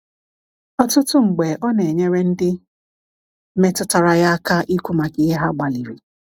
Ọtụtụ mgbe, ọ na-enyere ndị metụtara ya aka ikwu maka ihe ha gbalịrị.